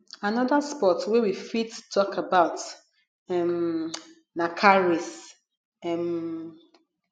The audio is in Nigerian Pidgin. another sports wey we fit talk about um na car race um